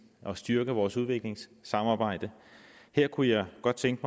og styrke vores udviklingssamarbejde her kunne jeg godt tænke